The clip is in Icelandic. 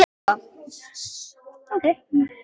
Hvað hefur þú í huga?